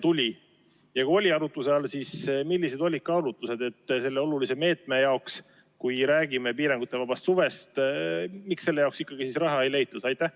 Kui see oli arutuse all, siis millised olid kaalutlused, et selle olulise meetme jaoks, kui räägime piirangutevabast suvest, raha ei leitud?